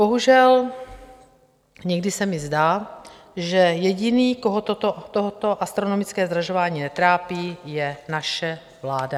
Bohužel někdy se mi zdá, že jediný, koho toto astronomické zdražování netrápí, je naše vláda.